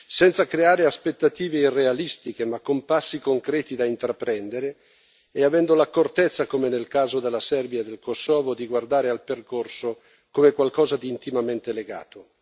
senza creare aspettative irrealistiche ma con passi concreti da intraprendere, e avendo l'accortezza, come nel caso della Serbia e del Kosovo, di guardare al percorso come qualcosa di intimamente legato.